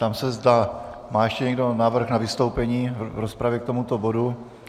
Ptám se, zda má ještě někdo návrh na vystoupení v rozpravě k tomuto bodu.